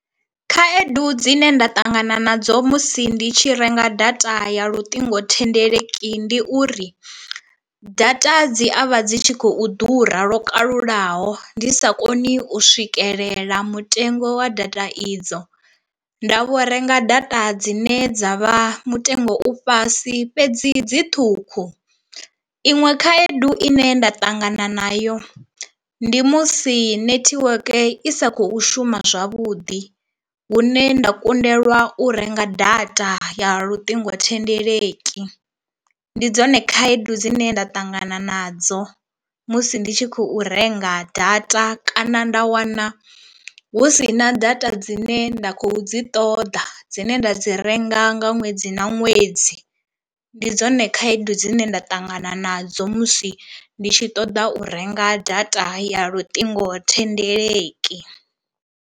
Khaedu dzine nda ṱangana nadzo musi ndi tshi renga data ya luṱingothendeleki ndi uri, data dzi avha dzi tshi khou ḓura lwo kalulaho ndi sa koni u swikelela mutengo wa data idzo nda vho renga data dzine dza vha mutengo u fhasi fhedzi dzi ṱhukhu, iṅwe khaedu ine nda ṱangana nayo ndi musi netiweke i sa kho shuma zwavhuḓi hune nda kundelwa u renga data ya luṱingothendeleki. Ndi dzone khaedu dzine nda ṱangana nadzo musi ndi tshi khou renga data kana nda wana hu si na data dzine nda khou dzi ṱoḓa dzine nda dzi renga nga ṅwedzi na ṅwedzi, ndi dzone khaedu dzine nda ṱangana nadzo musi ndi tshi ṱoḓa u renga data ya luṱingothendeleki.